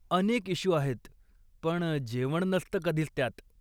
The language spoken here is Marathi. अनेक इश्यू आहेत पण जेवण नसतं कधीच त्यात!